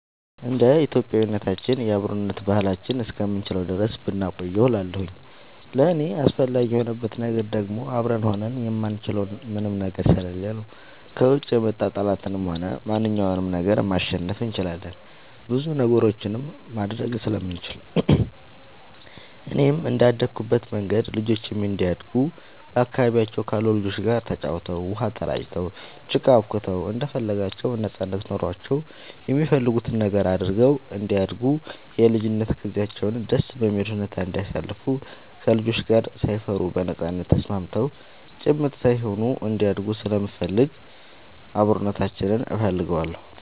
እንደ ኢትዮጵያዊነታችን የአብሮነት ባህላችንን እስከምንችለው ድረስ ብናቆየው እላለሁኝ። ለእኔ አስፈላጊ የሆንበት ነገር ደግሞ አብረን ሆነን የማንችለው ምንም ነገር ስለሌለ ነው። ከውጭ የመጣ ጠላትንም ሆነ ማንኛውንም ነገር ማሸነፍ እንችላለን ብዙ ነገሮችንም ማድረግ ስለምንችል፣ እኔም እንደአደኩበት መንገድ ልጆቼም እንዲያድጉ በአካባቢያቸው ካሉ ልጆች ጋር ተጫውተው, ውሃ ተራጭተው, ጭቃ አቡክተው እንደፈለጋቸው ነጻነት ኖሯቸው የሚፈልጉትን ነገር አድርገው እንዲያድጉ የልጅነት ጊዜያቸውን ደስ በሚል ሁኔታ እንዲያሳልፉ ከልጆች ጋር ሳይፈሩ በነጻነት ተስማምተው ጭምት ሳይሆኑ እንዲያድጉ ስለምፈልግ አብሮነታችንን እፈልገዋለሁ።